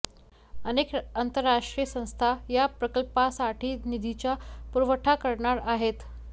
अनेक आंतरराष्ट्रीय संस्था या प्रकल्पासाठी निधीचा पुरवठा करणार आहेत